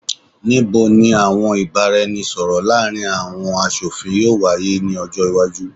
Nibo ni awọn ibaraẹnisọrọ laarin awọn aṣofin yoo waye ni ọjọ iwaju?